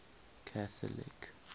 catholic